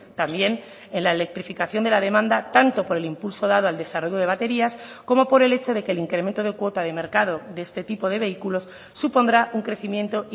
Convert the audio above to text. también en la electrificación de la demanda tanto por el impulso dado al desarrollo de baterías como por el hecho de que el incremento de cuota de mercado de este tipo de vehículos supondrá un crecimiento